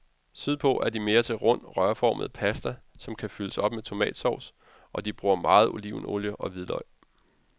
Sydpå er de mere til rund, rørformet pasta, som kan fyldes op med tomatsovs, og de bruger meget olivenolie og hvidløg.